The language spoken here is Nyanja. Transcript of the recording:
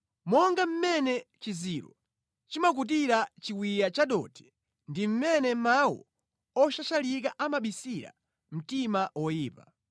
Monga mmene chiziro chimakutira chiwiya chadothi ndi mmene mawu oshashalika amabisira mtima woyipa.